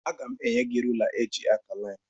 Aga m enye gị rula eji akà laịnị.